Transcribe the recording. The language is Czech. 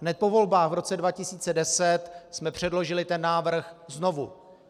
Hned po volbách v roce 2010 jsme předložili ten návrh znovu.